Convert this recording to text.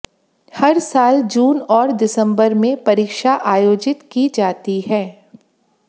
हर साल जून और दिसंबर में परीक्षा आयोजित की जाती है